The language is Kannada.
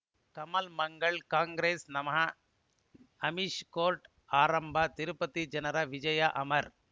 ಕಮಲ್ ಮಂಗಳ್ ಕಾಂಗ್ರೆಸ್ ನಮಃ ಅಮಿಷ್ ಕೋರ್ಟ್ ಆರಂಭ ತಿರುಪತಿ ಜನರ ವಿಜಯ ಅಮರ್